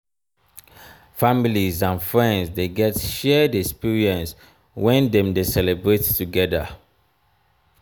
families and friends de get shared experience when dem de celebrate together